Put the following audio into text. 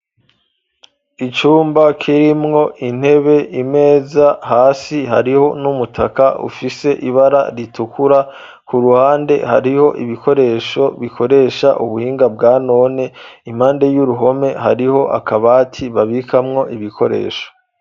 Icumba kirimwo intebe imeza hasi hariho n'umutaka ufise ibara ritukura ku ruhande hariho ibikoresho bikoresha ubuhinga bwa none impande y'uruhome hariho akabati babikamwo ibikoresho.